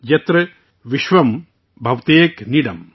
یاترا وشوم بھاوتیک نیڈم